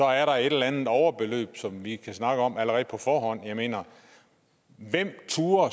er et eller andet overbeløb som vi kan snakke om allerede på forhånd jeg mener hvem turde